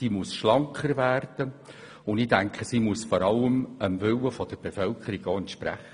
Sie muss schlanker werden, und sie muss vor allem auch dem Willen der Bevölkerung entsprechen.